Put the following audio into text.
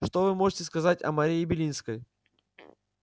что вы можете сказать о марии белинской